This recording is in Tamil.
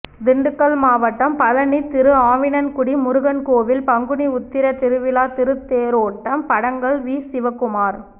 திண்டுக்கல் மாவட்டம் பழனி திருஆவினன்குடி முருகன் கோவில் பங்குனி உத்திர திருவிழா திருத்தேரோட்டம் படங்கள் வீசிவக்குமார்